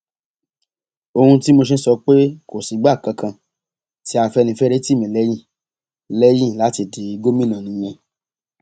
ohun tí mo ṣe ń sọ pé kò sígbà kankan tí afẹnifẹre tì mí lẹyìn lẹyìn láti di gómìnà nìyẹn